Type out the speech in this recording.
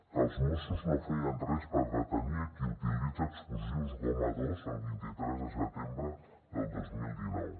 que els mossos no feien res per detenir a qui utilitza explosius goma dos el vint tres de setembre del dos mil dinou